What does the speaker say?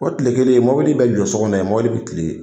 O kile kelen mɔbili bɛ jɔ so kɔnɔ, mobili bi kilen yen.